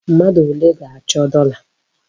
Mmadụ ole ga-achọ dọla?